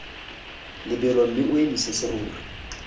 lebelo mme o emise serori